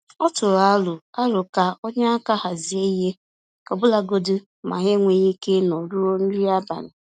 Ọ tụrụ aro aro ka o nye aka hazie ihe, ọbụlagodi ma ha enweghị ike ịnọ ruo nri abalị.